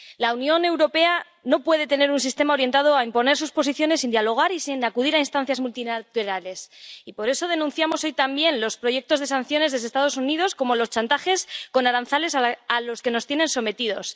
La Unión Europea no puede tener un sistema orientado a imponer sus posiciones sin dialogar y sin acudir a instancias multilaterales y por eso denunciamos hoy también los proyectos de sanciones de los Estados Unidos, como los chantajes con aranceles a los que nos tienen sometidos.